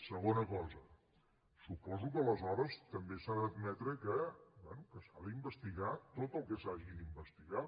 segona cosa suposo que aleshores també s’ha d’admetre que bé s’ha d’investigar tot el que s’hagi d’investigar